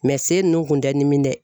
senw nunnu kun tɛ n dimi dɛ